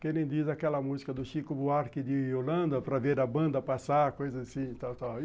Que nem diz aquela música do Chico Buarque de Holanda, para ver a banda passar, coisa assim, tal, tal.